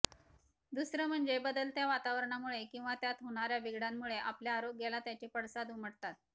दुसर म्हणजे बदलत्या वातावरणामुळे किंवा त्यात होणाऱ्या बिघाडांमुळे आपल्या आरोग्याला त्याचे पडसाद उमटतात